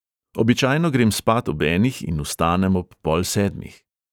Običajno grem spat ob enih in vstanem ob pol sedmih.